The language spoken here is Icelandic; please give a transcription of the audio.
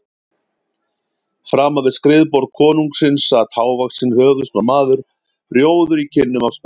Framan við skrifborð konungsins sat hávaxinn höfuðsmár maður, rjóður í kinnum af spennu.